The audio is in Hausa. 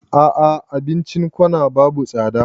A'a abincin corner babu tsada